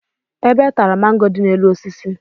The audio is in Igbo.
Ebe tara mango dị n'elu osisi